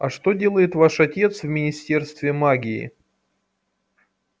а что делает ваш отец в министерстве магии